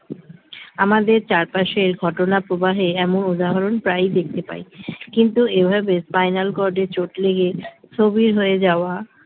আমাদের চারপাশের ঘটনা প্রবাহের এমন উদাহরণ প্রায়ই দেখতে পাই কিন্তু এভাবে spinal cord এ চোট লেগে স্থবির হয়ে যাওয়া